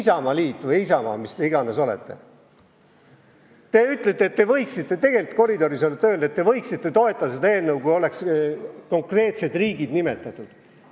Isamaaliit või Isamaa, mis iganes te olete, te ütlete – tegelikult koridoris olete öelnud –, et võiksite toetada seda eelnõu, kui oleks konkreetsed riigid nimetatud.